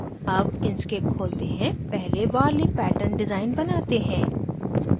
अब inkscape खोलते हैं पहले warli pattern डिज़ाइन बनाते हैं